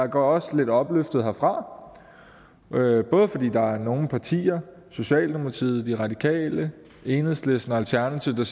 går også lidt opløftet herfra fordi der er nogle partier socialdemokratiet de radikale enhedslisten og alternativet